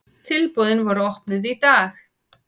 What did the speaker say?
Tilboðin voru opnuð í dag.